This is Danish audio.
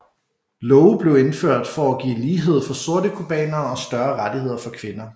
Love blev indført for at give lighed for sorte cubanere og større rettigheder for kvinder